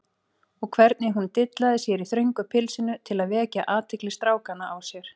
Og hvernig hún dillaði sér í þröngu pilsinu til að vekja athygli strákanna á sér!